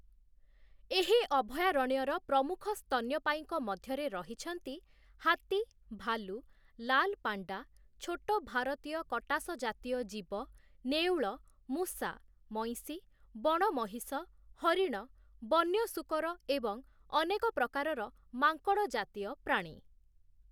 ଏହି ଅଭୟାରଣ୍ୟର ପ୍ରମୁଖ ସ୍ତନ୍ୟପାୟୀଙ୍କ ମଧ୍ୟରେ ରହିଛନ୍ତି ହାତୀ, ଭାଲୁ, ଲାଲ ପାଣ୍ଡା, ଛୋଟ ଭାରତୀୟ କଟାସ ଜାତୀୟ ଜୀବ, ନେଉଳ, ମୂଷା, ମଇଁଷି, ବଣ ମହିଷ, ହରିଣ, ବନ୍ୟ ଶୂକର ଏବଂ ଅନେକ ପ୍ରକାରର ମାଙ୍କଡ଼ ଜାତୀୟ ପ୍ରାଣୀ ।